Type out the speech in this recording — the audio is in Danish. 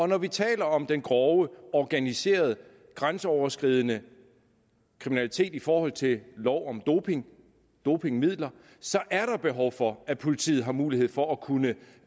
når vi taler om den grove organiserede grænseoverskridende kriminalitet i forhold til lov om doping og dopingmidler er der behov for at politiet har mulighed for at kunne